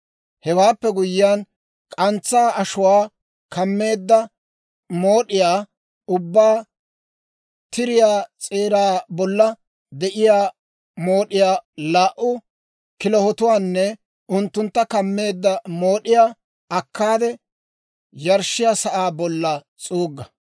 Hewaappe guyyiyaan k'antsaa ashuwaa kammeedda mood'iyaa ubbaa, tiriyaa s'eeraa bolla de'iyaa mood'iyaa, laa"u kilahotuwaanne unttuntta kameedda mood'iyaa akkaade, yarshshiyaa sa'aa bolla s'uugga.